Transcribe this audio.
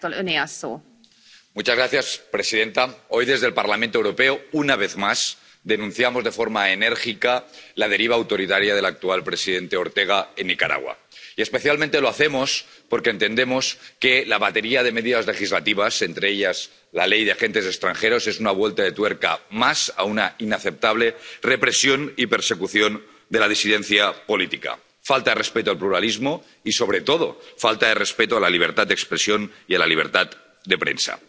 Señora presidenta, hoy desde el Parlamento Europeo, una vez más, denunciamos de forma enérgica la deriva autoritaria del actual presidente Ortega en Nicaragua y, especialmente, lo hacemos porque entendemos que la batería de medidas legislativas, entre ellas la Ley de Regulación de Agentes Extranjeros, es una vuelta de tuerca más a una inaceptable represión y persecución de la disidencia política, falta de respeto al pluralismo y, sobre todo, falta de respeto a la libertad de expresión y a la libertad de prensa.